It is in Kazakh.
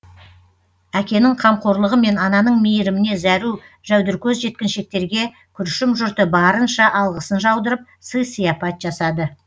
әкенің қамқорлығы мен ананың мейіріміне зәру жәудіркөз жеткіншектерге күршім жұрты барынша алғысын жаудырып сый сияпат жасады